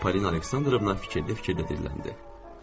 Polina Aleksandrovna fikirlə dedi, fikirlə deyiləndə.